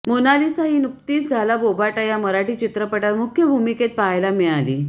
Mona Lisa ही नुकतीच झाला बोभाटा या मराठी चित्रपटात मुख्य भूमिकेत पाहायला मिळाली